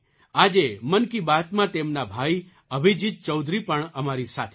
આજે મન કી બાતમાં તેમના ભાઈ અભિજીત ચૌધરી પણ અમારી સાથે છે